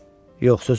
Yox, sözüm var?